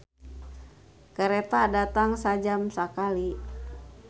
"Kareta datang sajam sakali"